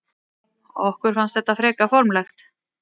Okkur fannst þetta fremur formlegt.